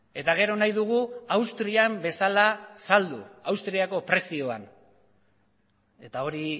eta gero nahi dugu austrian bezala saldu austriako prezioan eta hori